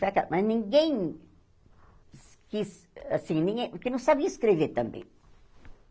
Foi aquela mas ninguém quis... assim, ninguém... porque não sabia escrever também.